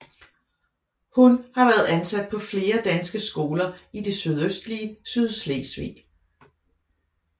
Hun har været ansat på flere danske skoler i det sydøstlige Sydslesvig